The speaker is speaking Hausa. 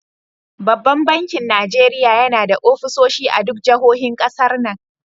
Banban bakin Najeriya yana da offisoshi a duk jahohin ƙasar nan.